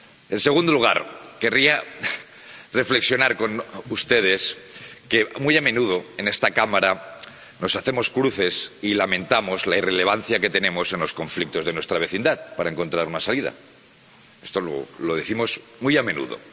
En segundo lugar, querría reflexionar con ustedes sobre el hecho de que, muy a menudo, en esta Cámara, nos hacemos cruces y lamentamos la irrelevancia que tenemos en los conflictos de nuestra vecindad, para encontrar una salida —esto lo decimos muy a menudo—.